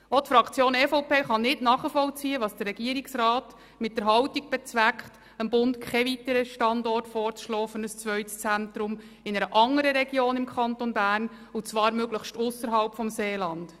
Auch die Fraktion EVP kann nicht nachvollziehen, was der Regierungsrat mit der Haltung bezweckt, dem Bund keine weiteren Standorte für ein zweites Zentrum in einer andern Region im Kanton Bern vorzuschlagen, und zwar möglichst ausserhalb des Seelandes.